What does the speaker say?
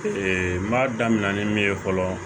Ee n b'a daminɛ ni min ye fɔlɔ